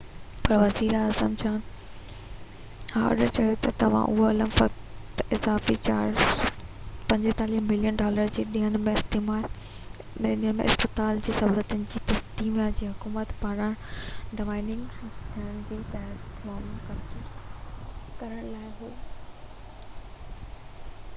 پر وزير اعظم John Howard چيو آهي ته اهو عمل فقط اضافي 45 ملين ڊالر جي ڏيڻ ۾ اسپتال جي سهولتن کي تسمانيا جي حڪومت پاران ڊائونگريڊ ٿيڻ کان تحفظ مهيا ڪرڻ لاءِ هو